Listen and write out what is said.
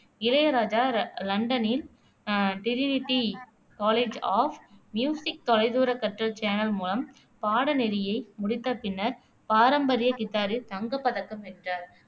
இளையராஜா ர லண்டனின் uh Trinity College of Music தொலைதூர கற்றல் சேனல் மூலம் பாடநெறியை முடித்த பின்னர் பாரம்பரிய கிதாரில் தங்கப்பதக்கம் வென்றவர்